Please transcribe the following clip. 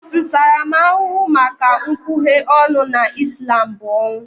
Ntaramahụhụ maka nkwughe ọnụ na Ịslam bụ ọnwụ